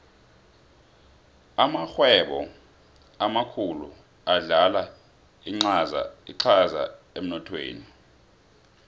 amarhwebo amakhulu adlala incaza emnothweni